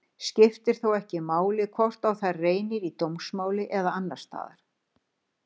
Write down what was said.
Skiptir þá ekki máli hvort á þær reynir í dómsmáli eða annars staðar.